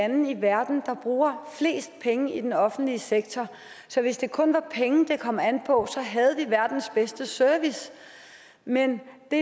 lande i verden der bruger flest penge i den offentlige sektor så hvis det kun var penge det kom an på havde vi verdens bedste service men det